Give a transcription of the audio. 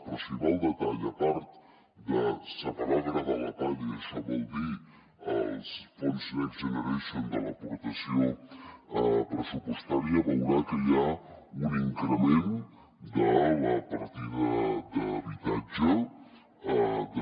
però si va al detall a part de separar el gra de la palla i això vol dir els fons next generation de l’aportació pressupostària veurà que hi ha un increment de la partida d’habitatge de